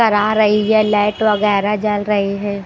डरा रही है लाइट वगैरा जल रही है।